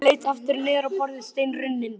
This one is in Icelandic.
Urður leit aftur niður á borðið, steinrunnin.